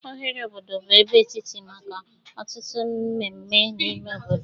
Oghere obodo bụ ebe etiti maka ọtụtụ mmemme n'ime obodo